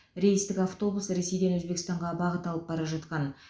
рейстік автобус ресейден өзбекстанға бағыт алып бара жатқан